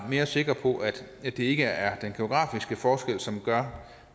sikre på at det ikke er den geografiske forskel som gør